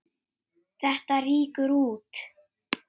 Þetta rýkur út.